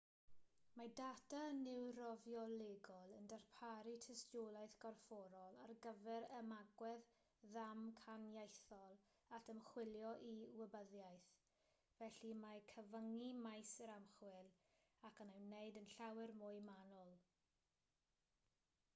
mae data niwrofiolegol yn darparu tystiolaeth gorfforol ar gyfer ymagwedd ddamcaniaethol at ymchwilio i wybyddiaeth felly mae'n cyfyngu maes yr ymchwil ac yn ei wneud yn llawer mwy manwl